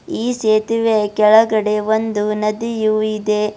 ಈ ಸೇತುವೆಯ ಕೆಳಗಡೆ ಒಂದು ನದಿಯು ಇದೆ.